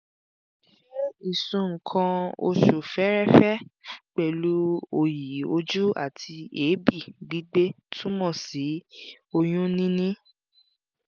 ṣé ìsun nǹkan-oṣù fẹ́ẹ́rẹ́fẹ́ pẹ̀lú òyì-ojú àti èébì gbígbé túmọ̀ sí oyún-níní?